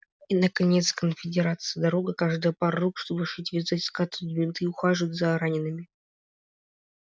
и наконец конфедерации дорога каждая пара рук чтобы шить вязать скатывать бинты и ухаживать за ранеными